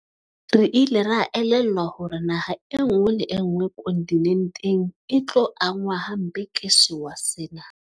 Re ile ra elellwa hore naha enngwe le enngwe kontinenteng e tlo angwa hampe ke sewa sena.